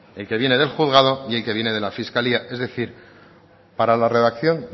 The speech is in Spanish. el que viene del juzgado y el que viene de la fiscalía es decir para la redacción